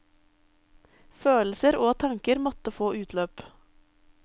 Følelser og tanker måtte få utløp.